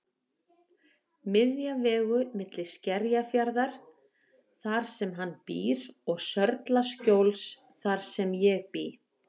Miðja vegu milli Skerjafjarðar þar sem hann býr og Sörlaskjóls þar sem ég bý.